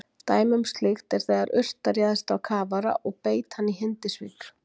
Dæmi um slíkt er þegar urta réðst á kafara og beit hann í Hindisvík.